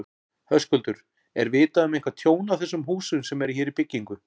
Höskuldur: Er vitað um eitthvað tjón á þessum húsum sem eru hér í byggingu?